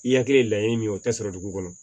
I hakili ye laɲini min ye o tɛ sɔrɔ dugu kɔnɔ